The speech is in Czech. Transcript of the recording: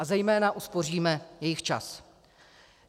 A zejména uspoříme jejich čas.